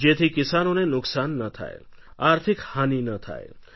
જેથી કિસાનોને નુકસાન ન થાય આર્થિક હાની ન થાય